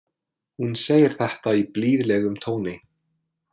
Hún segir þetta í blíðlegum tóni.